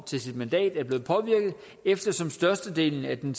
til sit mandat er blevet påvirket eftersom størstedelen af den